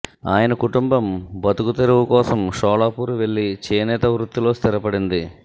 ఆయన కుటుంబం బతుకుతెరువు కోసం షోలాపూర్ వెళ్లి చేనేత వృత్తిలో స్థిరపడింది